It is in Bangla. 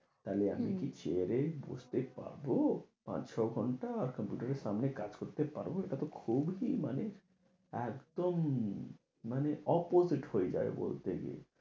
তাহলে আমি কি chair এ বসতে পাব, পাঁচ ছ ঘন্টা, computer এর সামনে কাজ করতে পারবো, এটা তো খুব কি মানে একদম মানে opposite হয়ে যাবে বলতে গিয়ে।